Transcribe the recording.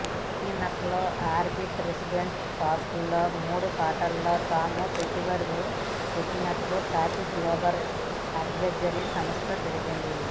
సకినకలోని orbit residency పార్క్లో మూడు ఫ్లాట్లలో తాము పెట్టుబడులు పెట్టినట్లు కాప్రీ గ్లోబల్ అడ్వైజరీ సంస్థ తెలిపింది